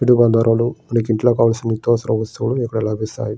ఇంట్లోకి కావలసిన నిత్య అవసర వస్తువులు ఇక్కడ లభిస్తాయి.